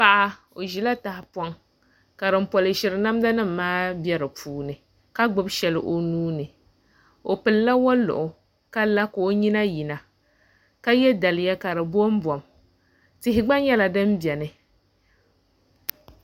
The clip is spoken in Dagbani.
Paɣa i ʒila tahapoŋ ka din polishiri namda nim maa bɛ di puuni ka gbubi shɛli o nuuni o pilila woliɣi ka la ka o nyina yina ka yɛ daliya ka di bombom tihi gba nyɛla din biɛni